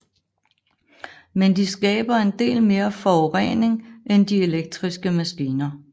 Men de skaber en del mere forurening end de elektriske maskiner